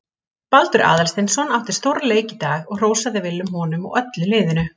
Baldur Aðalsteinsson átti stórleik í dag og hrósaði Willum honum og öllu liðinu.